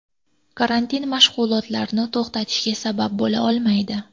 Karantin mashg‘ulotlarni to‘xtatishga sabab bo‘la olmaydi.